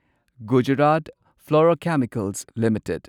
Gujarat Fluorochemicals limited